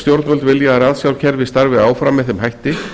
stjórnvöld vilja að ratsjárkerfið starfi áfram með þeim hætti